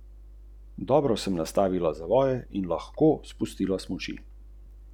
Vztrajnost in trdnost, moč in trdoživost skale, nekaj, kar ni bilo mogoče premagati ali spregledati.